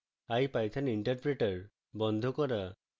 ipython interpreter বন্ধ করা